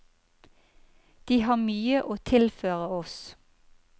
De har mye å tilføre oss.